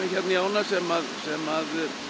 í ána sem sem